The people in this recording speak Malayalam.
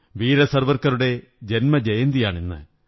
വീര സവര്ക്ക്റുടെ ജന്മജയന്തിയാണിന്ന്